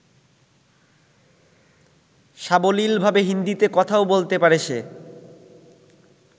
সাবলীলভাবে হিন্দীতে কথাও বলতে পারে সে।